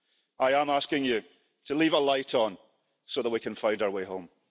I am asking you to leave a light on so that we can find our way home.